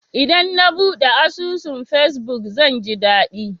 Idan na buɗe asusun fesbuk, zan ji daɗi.